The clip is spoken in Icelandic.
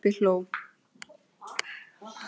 Og pabbi hló.